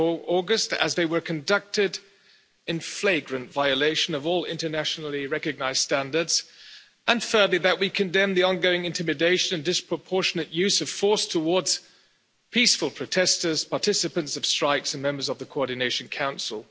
August as they were conducted in flagrant violation of all internationally recognised standards, and thirdly that we condemn the ongoing intimidation and disproportionate use of force towards peaceful protesters, participants of strikes and members of the Coordination Council.